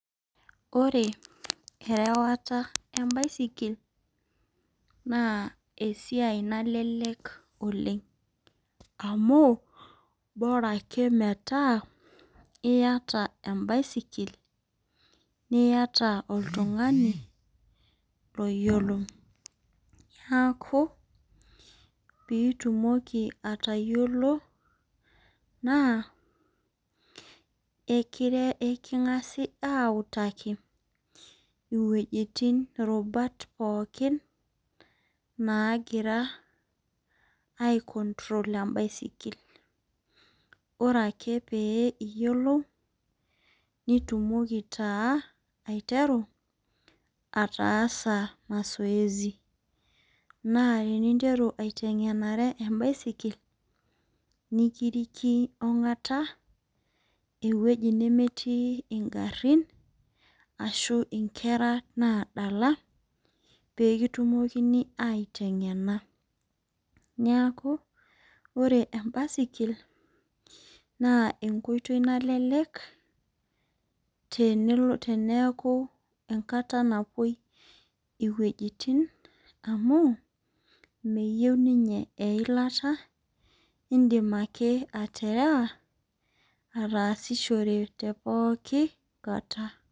Ore erewata embaisikil naa esiai nalelek oleng amu bora ake metaa iyata embaisikil, niata oltungani loyiolo , niaku pitumoki atayiolo naa ekingasi autaki iwuejitin, irubat pookin nagira aicontrol embaisikil . Ore ake pee iyiolou , nitumoki taa aiteru ataasa mazoezi naa teninteru aitengenare embaisikil nikiriki ongata ewueji nemetii ingarin ashu inkera nadala pekitumokini aitengena . Niaku ore embaisikil naa enkoitoi nallelek teneaku kata nabo iwuejitin amu meyieu ninye eilata , indim ake aterewa ataasishore tepooki kata.